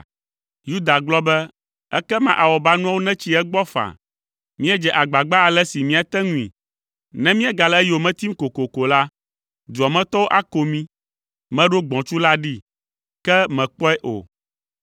Yuda gblɔ be, “Ekema awɔbanuawo netsi egbɔ faa! Míedze agbagba ale si míate ŋui. Ne míegale eyome tim kokoko la, dua me tɔwo ako mí. Meɖo gbɔ̃tsu la ɖee, ke mèkpɔe o.”